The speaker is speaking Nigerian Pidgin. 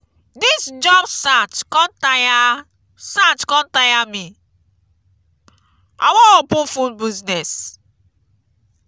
dis job search con tire search con tire me. i wan open food business.